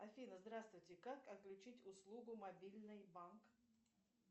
афина здравствуйте как отключить услугу мобильный банк